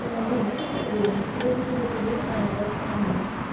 ну блин это нет уверенности я хочу быть уверена в завтрашнем дне